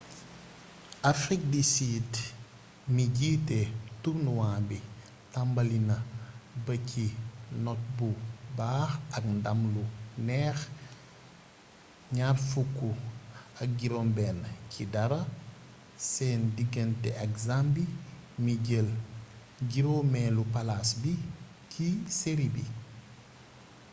afrik di sid mi jiite turnuwaa bi tambali ba ci not bu baax ak ndam lu neex 26 - 00 seen digante ak zambie mi jël 5eelu palaas bi ci seri bi